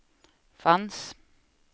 fanns